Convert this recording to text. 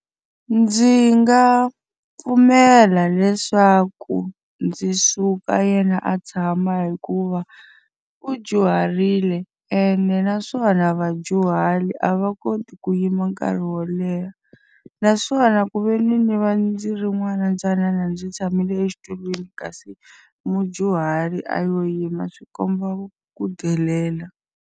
Ndzi nga pfumela leswaku ndzi suka yena a tshama hikuva u dyuharile ene naswona vadyuhari a va koti ku yima nkarhi wo leha. Naswona ku ve ni ni va ndzi ri n'wana ntsanana ndzi tshamile exitulwini kasi mudyuhari a lo yima swi komba ku delela.